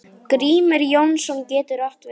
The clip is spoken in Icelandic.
Grímur Jónsson getur átt við